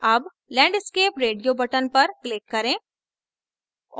अब landscape radio button पर click करें